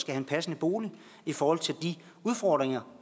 have en passende bolig i forhold til de udfordringer